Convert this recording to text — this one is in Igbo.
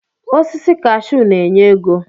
Osisi kashuu na-enye ego.